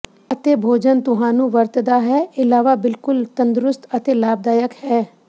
ਅਤੇ ਭੋਜਨ ਤੁਹਾਨੂੰ ਵਰਤਦਾ ਹੈ ਇਲਾਵਾ ਬਿਲਕੁਲ ਤੰਦਰੁਸਤ ਅਤੇ ਲਾਭਦਾਇਕ ਹੈ